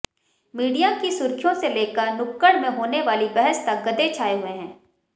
media की सुर्खियों से लेकर नुक्कड़ में होने वाली बहस तक गधे छाए हुए हैं